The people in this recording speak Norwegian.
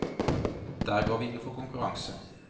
Der går vi inn for konkurranse.